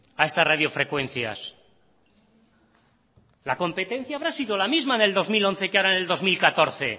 a estas radiofrecuencias la competencia habrá sido la misma en el dos mil doce que ahora en el dos mil catorce